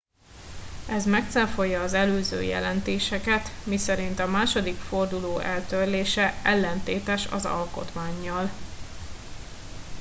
ez megcáfolja az előző jelentéseket miszerint a második forduló eltörlése ellentétes az alkotmánnyal